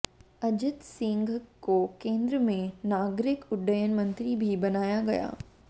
अजित सिंह को केंद्र में नागरिक उड्डयन मंत्री भी बनाया गया